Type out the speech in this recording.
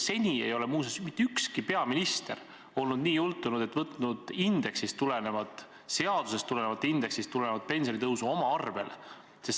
Seni ei ole muuseas mitte ükski peaminister olnud nii jultunud, et on võtnud indeksist tuleneva, seadusest tuleneva pensionitõusu oma arvele.